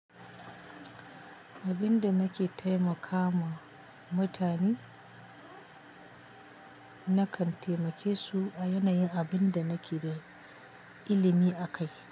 Abinda nake taimakama mutane, nakan taimake su a yanayin abin da nake da ilimi a kai.